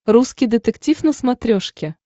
русский детектив на смотрешке